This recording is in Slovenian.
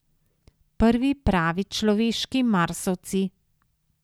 Prvi pravi človeški Marsovci.